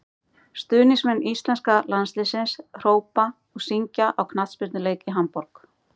stuðningsmenn íslenska landsliðsins hrópa og syngja á knattspyrnuleik í hamborg